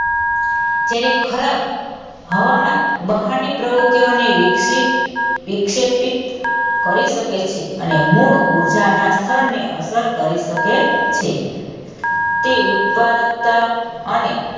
ત્યારે ખરાબ હવામાન બહાને પ્રવૃત્તિઓને વિક્ષેપિત કરી શકે છે અને મૂળ ઉર્જાના સ્થળને અસર કરી શકે છે તે ઉત્પાદકતા અને,